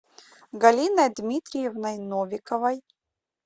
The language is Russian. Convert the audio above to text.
галиной дмитриевной новиковой